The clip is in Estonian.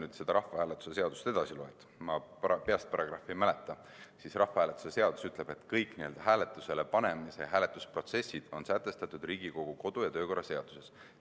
Kui sa rahvahääletuse seadust edasi loed – ma peast paragrahvi ei mäleta –, siis rahvahääletuse seadus ütleb, et kõik n-ö hääletusele panemise protsessid on sätestatud Riigikogu kodu- ja töökorra seaduses.